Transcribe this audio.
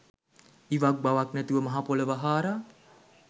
ඉවක් බවක් නැතිව මහපොළොව හාරා